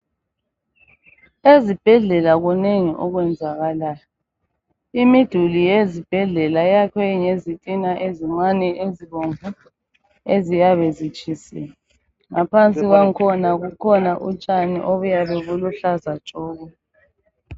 Ezibhedlela kunengi okwenzakalayo. Imiduli yezibhedlela iyakwe ngezithina ezincane ezibomvu eziyabe zitshisiwe. Ngaphansi kwangikhona kukhona utshani oluyabe luluhlaza tshoko.